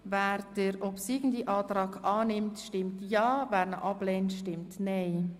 Wer den obsiegenden Antrag annimmt, stimmt ja, wer ihn ablehnt, stimmt nein.